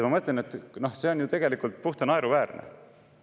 Ma mõtlen, et see on ju tegelikult puhta naeruväärne.